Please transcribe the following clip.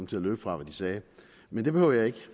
til at løbe fra hvad de sagde men det behøver jeg ikke